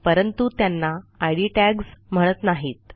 परंतु त्यांना इद टॅग्स म्हणत नाहीत